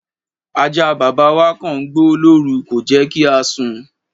Ajá bàbá wa kọ̀ ń gbó lórú, kò jẹ́ kí a sùn.